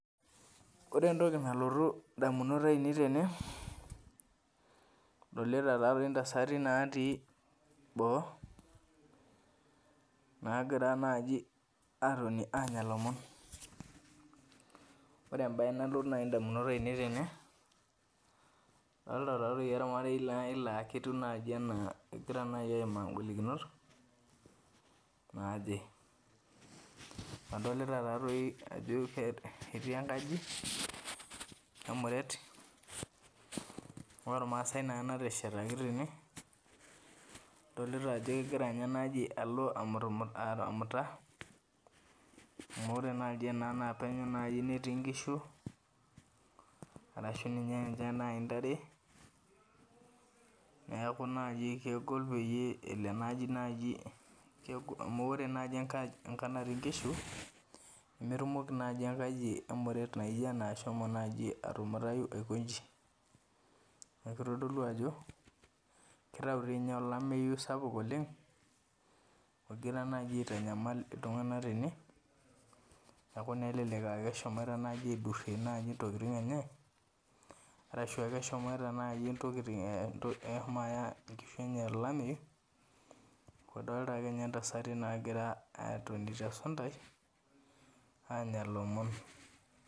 Orentoki nalotu indamunot ainei tene adolita taa toi intasati naatii boo naagira naji atoni aanya lomon. Ore embaye nalotu nai indamunot ainei tene , adolita taatoi olmarei nai laa ketiu naji anaa egira nai aimaa ingolikinot naaje. Adolita taa toi ajo [ke] ketii enkaji, kemuret olmaasai neena nateshetaki tene adolita ajo kegira ninye enaji alo amutumut amuta amu ore naji ena naa penyo nai netii nkishu arashu ninye ninche ntare neaku naji kegol peyie elo enaji naji kegol amu ore naji enkaj enkang' natii nkishu nemetumoki naji enkaji emuret naijo ena ashomo atumutayu aiko inji. Neaku eitodolu ajo keitau dii ninye olameyu sapuk oleng' ogira naji aitanyamal iltung'anak tene aaku naa elelek eshomoita naji aidurrie naji intokitin enye arashu ake eshomoita naji intokitin eh eshomo aya inkishu enye olameyu adolita akeinye ntasati naagira atoni tesuntai aanya lomon.